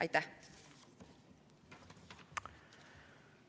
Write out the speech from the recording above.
Aitäh!